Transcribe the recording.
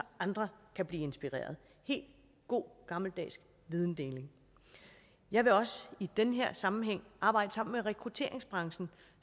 andre kan blive inspireret helt god gammeldags videndeling jeg vil også i den her sammenhæng arbejde sammen med rekrutteringsbranchen